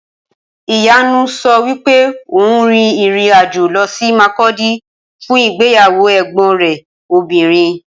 Ìyanu sọ wípé òun rin ìrìn-àjò lọ sí Makurdi fún ìgbéyàwó ẹ̀gbọn rẹ̀ obìnrin.